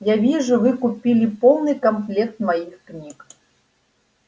я вижу вы купили полный комплект моих книг